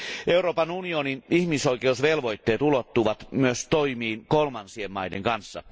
Euroopan unionin ihmisoikeusvelvoitteet ulottuvat myös toimiin kolmansien maiden kanssa.